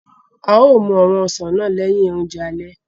A yóò mú àwọn osán náà lẹ̀hin ọ̀njẹ̀ àlẹ̀.